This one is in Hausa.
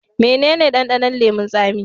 Mene ne dandanon leman tsami?